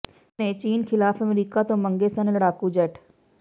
ਨਹਿਰੂ ਨੇ ਚੀਨ ਖ਼ਿਲਾਫ਼ ਅਮਰੀਕਾ ਤੋਂ ਮੰਗੇ ਸਨ ਲਡ਼ਾਕੂ ਜੈੱਟ